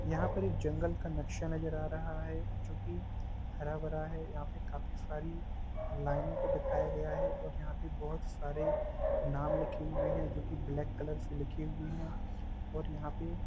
यहाँ पर जंगल का नक्शा नज़र आ रहा है जो की काफी हरा भरा है जो की लाइनो को दिखाया गया है जहा पे काफी बहुत सारे नाम लिखे हुए है जो की ब्लैक कलर से लिखे हुए है और यह पे--